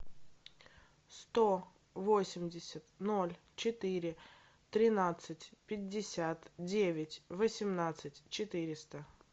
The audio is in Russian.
сто восемьдесят ноль четыре тринадцать пятьдесят девять восемнадцать четыреста